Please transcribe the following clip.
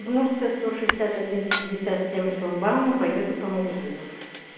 удмуртская сто шестьдесят один пятьдесят семь шлагбаум поеду по магазинам